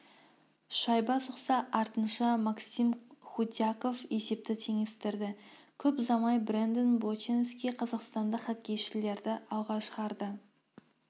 шайба соқса артынша максим худяков есепті теңестірді көп ұзамай брэндон боченски қазақстандық хоккейшілерді алға шығарды